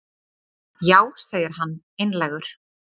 Já, segir hann einlægur.